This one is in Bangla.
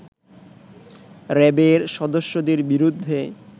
র‍্যাবের সদস্যদের বিরুদ্ধে